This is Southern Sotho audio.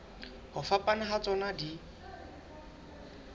ho fapana ha tsona di